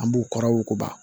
An b'u kɔrɔ wuguba